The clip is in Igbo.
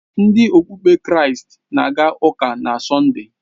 Ndị okpukpe kristi na aga ụka na Sọnde.